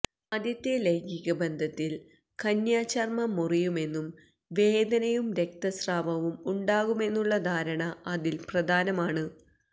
ആദ്യത്തെ ലൈംഗികബന്ധത്തിൽ കന്യാചർമം മുറിയുമെന്നും വേദനയും രക്തസ്രാവവും ഉണ്ടാകുമെന്നുമുള്ള ധാരണ അതിൽ പ്രധാനമാണ്